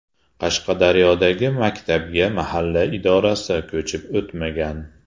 Qashqadaryodagi maktabga mahalla idorasi ko‘chib o‘tmagan.